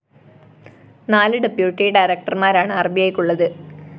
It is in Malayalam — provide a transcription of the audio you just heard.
നാലു ഡെപ്യൂട്ടി ഡയറക്ടര്‍മാരാണ് ആര്‍ബിഐക്ക് ഉള്ളത്